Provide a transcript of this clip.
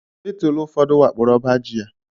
Bitulu ụfọdụ wakporo ọba ji ya